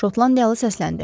Şotlandiyalı səsləndi.